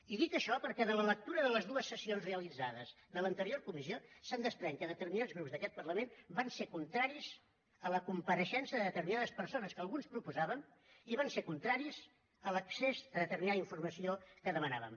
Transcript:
i dic això perquè de la lectura de les dues sessions realitzades de l’anterior comissió se’n desprèn que determinats grups d’aquest parlament van ser contraris a la compareixença de determinades persones que alguns proposàvem i van ser contraris a l’accés a determinada informació que demanàvem